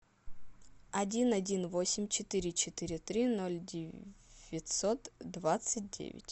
один один восемь четыре четыре три ноль девятьсот двадцать девять